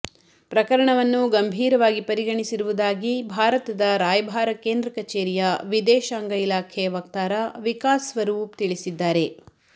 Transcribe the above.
ಪ್ರಕರಣವನ್ನು ಗಂಭೀರವಾಗಿ ಪರಿಗಣಿಸಿರುವುದಾಗಿ ಭಾರತದ ರಾಯಭಾರ ಕೇಂದ್ರ ಕಚೇರಿಯ ವಿದೇಶಾಂಗ ಇಲಾಖೆ ವಕ್ತಾರ ವಿಕಾಸ್ ಸ್ವರೂಪ್ ತಿಳಿಸಿದ್ದಾರೆ